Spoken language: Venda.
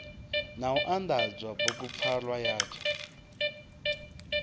na u anḓadza bugupfarwa yatsho